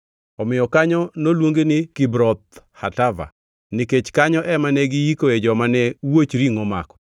Omiyo kanyo noluongi ni Kibroth Hatava, nikech kanyo ema ne giyikoe joma ne wuoch ringʼo omako.